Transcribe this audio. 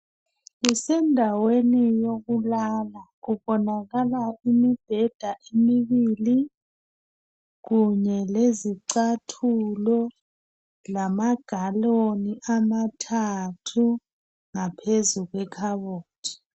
Kusendaweni yokulala kubonakala imibheda emibili kunye lezicathulo lamagaloni amathathu ngaphezu kwekhabothi.